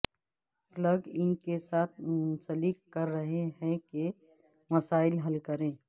plug in کے ساتھ منسلک کر رہے ہیں کہ مسائل حل کریں